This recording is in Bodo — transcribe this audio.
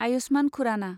आयुष्मान खुराना